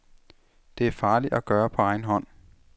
Det er farligt at gøre på egen hånd.